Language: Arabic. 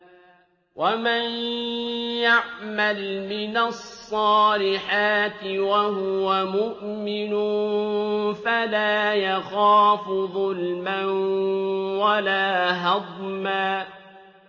وَمَن يَعْمَلْ مِنَ الصَّالِحَاتِ وَهُوَ مُؤْمِنٌ فَلَا يَخَافُ ظُلْمًا وَلَا هَضْمًا